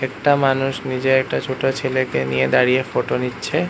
একটা মানুষ নিজের একটা ছোট ছেলেকে নিয়ে দাঁড়িয়ে ফটো নিচ্ছে।